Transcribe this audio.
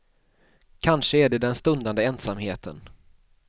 Kanske är det den stundande ensamheten.